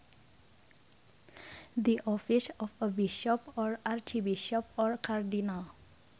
The office of a bishop or archbishop or cardinal